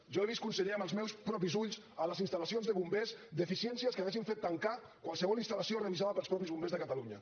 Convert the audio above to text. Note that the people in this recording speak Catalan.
jo he vist conseller amb els meus propis ulls a les instal·lacions de bombers deficiències que haurien fet tancar qualsevol instal·lació revisada pels mateixos bombers de catalunya